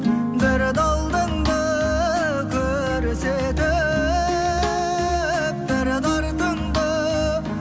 бір де алдыңды көрсетіп бір де артыңды